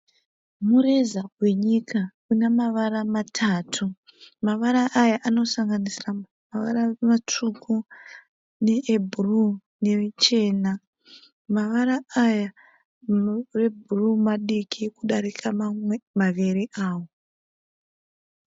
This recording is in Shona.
Mureza wenyika unemarava matatu, mavara aya anosanginisira mavara matsvuku, neebhuru nechena. Mavara aya ebhuru madiki kudarika mamwe maviri awa.